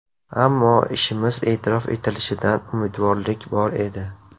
Ammo ishimiz e’tirof etilishidan umidvorlik bor edi.